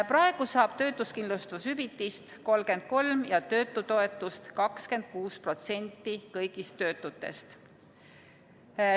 Praegu saab töötuskindlustushüvitist 33% ja töötutoetust 26% kõigist töötutest.